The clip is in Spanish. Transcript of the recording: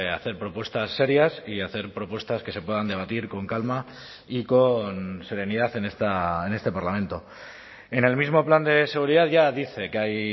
hacer propuestas serias y hacer propuestas que se puedan debatir con calma y con serenidad en este parlamento en el mismo plan de seguridad ya dice que hay